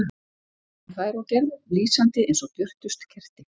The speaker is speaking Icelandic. Sem þær og gerðu, lýsandi eins og björtust kerti.